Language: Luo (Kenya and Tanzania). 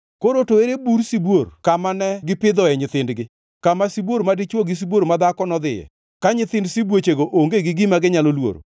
Koro to ere bur sibuor kama ne gipidhoe nyithindgi, kama sibuor madichwo gi sibuor madhako nodhiye, ka nyithind sibuochego onge gi gima ginyalo luoro?